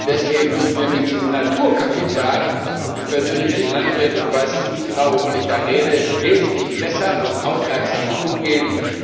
Deswegen müssen wir mit diesem Naturkapital ich persönlich bin Landwirt und weiß ziemlich genau, wovon ich da rede wesentlich besser und aufmerksamer umgehen.